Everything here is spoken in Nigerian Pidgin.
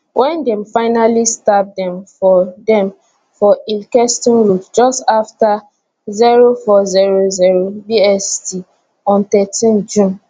wen dem fatally stab dem for dem for ilkeston road just afta 0400 bst on thirteen june